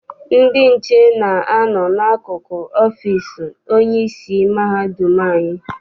Ndị nche na-a nọ n'akụkụ ọfịịsi onyeisi mahadum anyị.